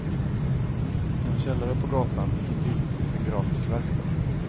I en källare på gatan intill finns en grafisk verkstad.